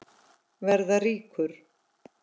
Verða ríkur.